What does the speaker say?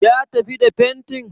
Ya tafi da fentin?